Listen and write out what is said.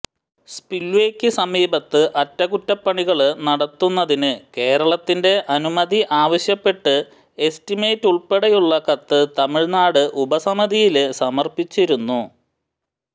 സ്പില്വേയ്ക്ക് സമീപത്ത് അറ്റകുറ്റപ്പണികള് നടത്തുന്നതിന് കേരളത്തിന്റെ അനുമതി ആവശ്യപ്പെട്ട് എസ്റ്റിമേറ്റ് ഉള്പ്പെടെയുള്ള കത്ത് തമിഴ്നാട് ഉപസമിതിയില് സമര്പ്പിച്ചിരുന്നു